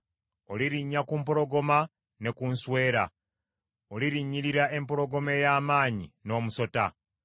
Olirinnya ku mpologoma ne ku nswera; olirinnyirira empologoma ey’amaanyi, n’omusota.